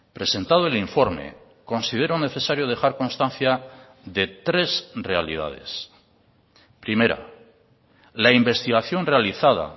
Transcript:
presentado el informe considero necesario dejar constancia de tres realidades primera la investigación realizada